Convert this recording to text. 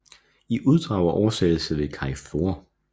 I uddrag og oversættelse ved Kai Flor